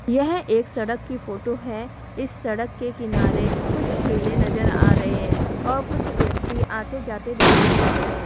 यह एक सड़क की फोटो है इस सड़क के किनारे कुछ ठेले नजर आ रहे हैं और कुछ व्यक्ति आते जाते दिखाई दे रहे हैं।